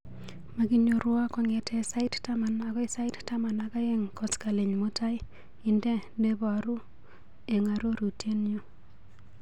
Makinyorwo kong'ete sait taman akoi sait taman ak aeng' koskoliny mutai, indee neboruu eng arorutienyu.